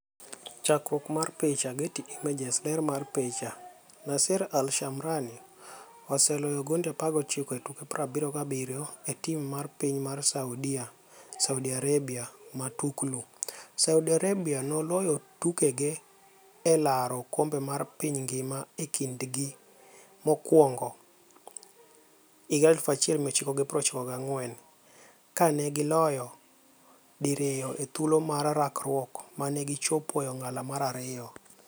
Chakruok mar picha, Getty Images. Ler mar picha, Nasser Al Shamrani oseloyo gonde 19 e tuke 77 e tim mar piny mar Saudia Saudi Arabia Matuklu: Saudi Arabia noloyo tukege elaro okombe mar piny ngima e kinde gi mokwongo 1994, ka negi loyo diriyo e thuolo mar rakruok mane gi chopo e ong'ala mar ariyo.